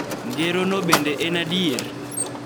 Ngero no bende en adier .